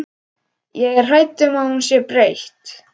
Ég er hrædd um að hún sé breytt.